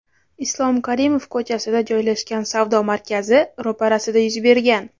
Islom Karimov ko‘chasida joylashgan savdo markazi ro‘parasida yuz bergan.